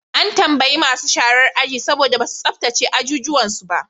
An tambayi masu sharar aji saboda ba su tsabtace ajuju su ba.